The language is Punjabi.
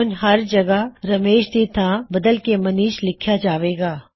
ਹੁਣ ਹਰ ਜਗ੍ਹਾ ਰਮੇਸ਼ ਦੀ ਥਾਂ ਬਦਲ ਕੇ ਮਨੀਸ਼ ਲਿਖਿਆ ਜਾਵੇਗਾ